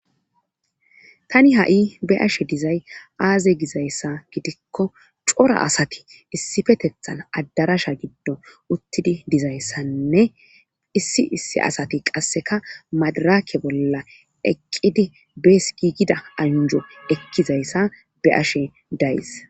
tani ha'i be'ashe dizay aaze gizayssa gidikko cora asati issifetethan addarasha giddo uttidi dizayssanne issi issi asati qasseka madaraake bolla eqqidi bees giigida anjo ekkizayssa be'ashe days